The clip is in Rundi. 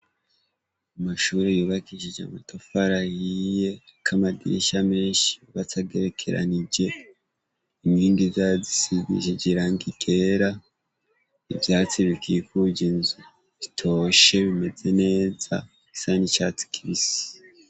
Amashure yubakishij' amatafar'ahiye, arik' amadirisha menshi y'ubats' agerekeranije, inkingi zayo zisigishij' irangi ryera, ivyatsi bikikuj' inzu bitoshe bimeze neza bisa n' icatsi kibisi.